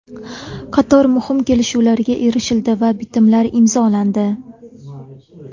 Qator muhim kelishuvlarga erishildi va bitimlar imzolandi.